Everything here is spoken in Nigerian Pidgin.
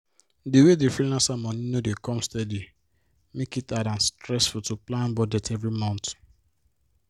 di way the freelancer money no dey come steady make it hard and stressful to plan budget every month